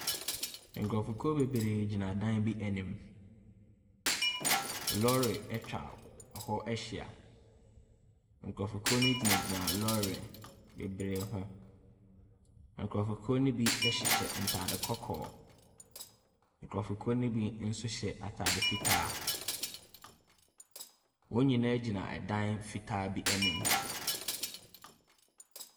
Nkurɔfokuw bebree gyina dan bi anim. Lɔre etwa hɔ ahyia. Nkurofokuw no gyina gyina lɔre beberee ho. Nkurofokuw no bi ɛhyehyɛ ntaade kɔkɔɔ. Nkurofokuw no bi nso hyɛ ataade fitaa. Wɔn nyinaa gyina ɛdan fitaa bi anim.